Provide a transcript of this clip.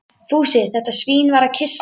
Fúsi, þetta svín, var að kyssa mig.